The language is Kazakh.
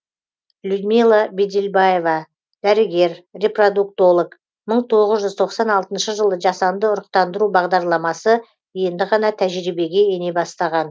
людмила бадельбаева дәрігер репродуктолог мың тоғыз жүз тоқсан алтыншы жылы жасанды ұрықтандыру бағдарламасы енді ғана тәжірибеге ене бастаған